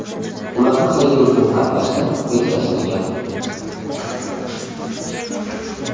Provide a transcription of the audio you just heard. ularni xayriya uchun sarflashni rejalashtirgan.